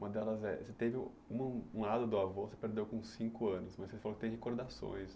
Uma delas é, você teve um lado do avô você perdeu com cinco anos, mas você falou que tem recordações.